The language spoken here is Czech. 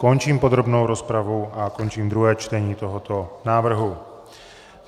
Končím podrobnou rozpravu a končím druhé čtení tohoto návrhu.